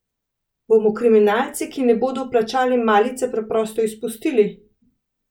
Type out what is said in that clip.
Bomo kriminalce, ki ne bodo plačali malice, preprosto izpustili?